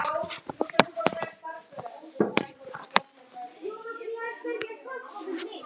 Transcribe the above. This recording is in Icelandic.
En ég fékk lítil svör.